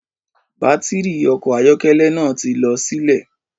Bátìrì ọkọ̀ ayọ́kẹ́lẹ́ náà ti lọ sílẹ̀